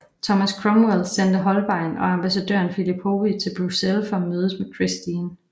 Thomas Cromwell sendte Holbein og ambassadøren Philip Hoby til Bruxelles for at mødes med Christine